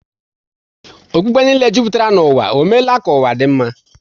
Okpukpe niile jupụtara n'ụwa, ọ meela ka ụwa dị mma?